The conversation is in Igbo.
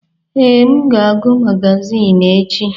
Ee, m ga-agụ magazin echi.